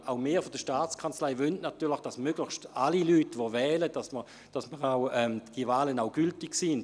Auch wir von der Staatskanzlei wollen natürlich, dass möglichst die Stimmen aller Leute, die gewählt haben, gültig sind.